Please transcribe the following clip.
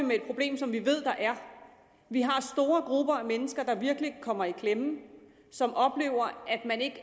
med et problem som vi ved der er vi har store grupper af mennesker der virkelig kommer i klemme og som oplever at man